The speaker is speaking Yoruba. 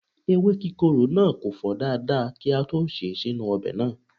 Ewe kikoro na ko fo dada ki a to se e sinu obe naa